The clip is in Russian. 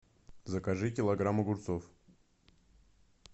закажи килограмм огурцов